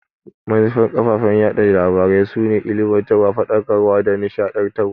Manufar kafafen yaɗa labarai su ne ilimantarwa, Faɗakarwa da nishadantarwa.